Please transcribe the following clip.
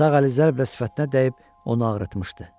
Sağ əli zərblə sifətinə dəyib onu ağrıtmışdı.